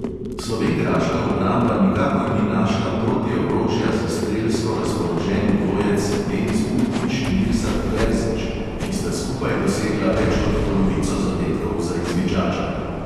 Slovenjgraška obramba nikakor ni našla protiorožja za strelsko razpoloženi dvojec denis buntić – mirsad terzić, ki sta skupaj dosegla več kot polovico zadetkov za izvidžača.